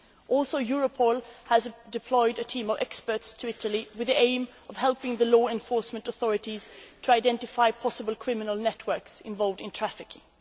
What is more, Europol has deployed a team of experts to Italy with the aim of helping the law enforcement authorities to identify possible criminal networks involved in trafficking.